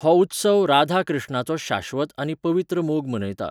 हो उत्सव राधा कृ्ष्णाचो शाश्वत आनी पवित्र मोग मनयता.